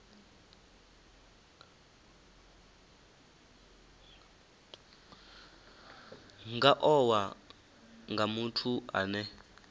nga owa nga muthu ane